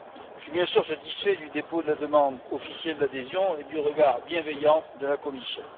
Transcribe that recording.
Je suis, bien sûr, satisfait du dépôt de la demande officielle d'adhésion et du regard bienveillant de la Commission.